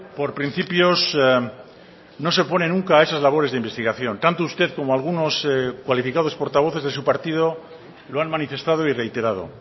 por principios no se opone nunca a esas labores de investigación tanto usted como algunos cualificados portavoces de su partido lo han manifestado y reiterado